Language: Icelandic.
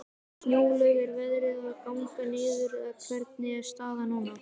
Snjólaug, er veðrið að ganga niður, eða hvernig er staðan núna?